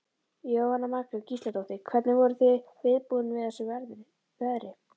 Jóhanna Margrét Gísladóttir: Hvernig voruð þið viðbúin við þessu veðri?